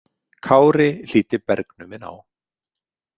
Kári hlýddi bergnuminn á.